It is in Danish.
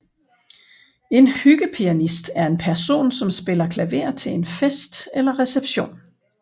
En hyggepianist er en person som spiller klaver til en fest eller reception